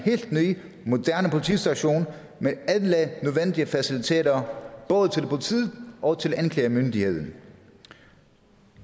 ny moderne politistation med alle nødvendige faciliteter både til politiet og til anklagemyndigheden